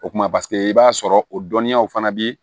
O kumana paseke i b'a sɔrɔ o dɔnniyaw fana bi